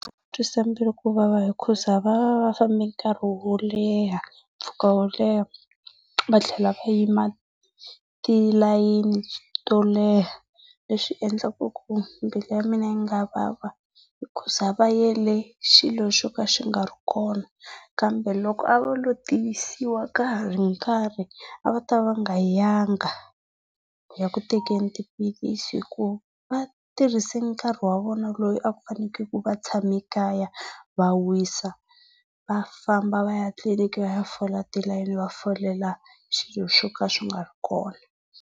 Va twisa mbilu kuvava hikuza va va va fambe nkarhi wo leha, mpfhuka wo leha, vatlhela va yima tilayeni to leha leswi endlaka ku mbilu ya mina yi nga vava hikuza va yele xilo xo ka xi nga ri kona. Kambe loko a va lo tivisiwa ka ha ri nkarhi, a va ta va va nga yanga ku ya ku tekeni tiphilisi hikuva va tirhise nkarhi wa vona lowu a ku fane ku va tshame ekaya va wisa, vafamba va ya tliliniki va ya fola tilayini va folelo xilo xo ka xi nga ri kona.